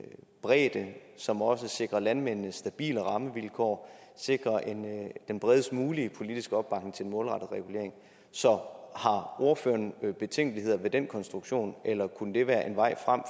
bredde som også sikrer landmændene stabile rammevilkår sikrer den bredest mulige politiske opbakning til en målrettet regulering så har ordføreren betænkeligheder ved den konstruktion eller kunne det være en vej frem